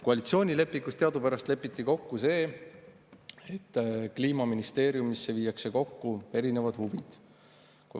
Koalitsioonilepingus teadupärast lepiti kokku, et kliimaministeeriumisse viiakse kokku erinevad huvid.